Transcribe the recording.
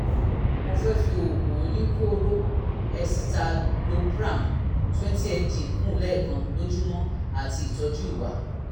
mo fẹ́ fi oògùn oníkóró escitalopram twenty mg kún un lẹ́ẹ̀kan lójúmọ́ àti ìtọ́jú ìwà